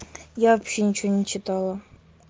я вообще ничего не читала